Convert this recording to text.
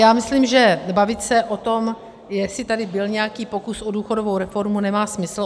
Já myslím, že bavit se o tom, jestli tady byl nějaký pokus o důchodovou reformu, nemá smysl.